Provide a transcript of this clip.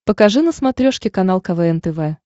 покажи на смотрешке канал квн тв